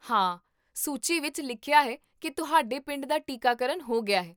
ਹਾਂ, ਸੂਚੀ ਵਿੱਚ ਲਿਖਿਆ ਹੈ ਕੀ ਤੁਹਾਡੇ ਪਿੰਡ ਦਾ ਟੀਕਾਕਰਨ ਹੋ ਗਿਆ ਹੈ